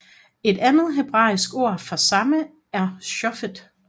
Et andet hebraisk ord for samme er shofet